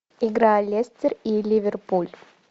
игра лестер и ливерпуль